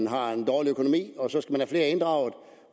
har en dårlig økonomi og så skal have flere inddraget